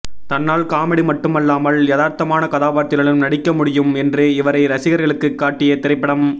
தன்னால் காமெடி மட்டுமல்லாமல் யதார்த்தமான கதாபாத்திரத்திலும் நடிக்க முடியும் என்று இவரை ரசிகர்களுக்கு காட்டிய திரைப்படம்